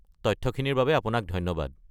তথ্যখিনিৰ বাবে আপোনাক ধন্যবাদ।